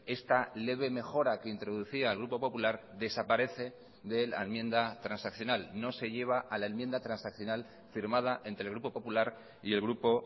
esta leve mejora que introducía el grupo popular desaparece de la enmienda transaccional no se lleva a la enmienda transaccional firmada entre el grupo popular y el grupo